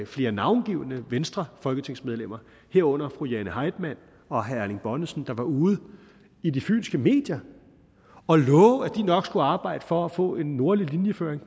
flere navngivne venstrefolketingsmedlemmer herunder fru jane heitmann og herre erling bonnesen der var ude i de fynske medier og love at de nok skulle arbejde for at få en nordlig linjeføring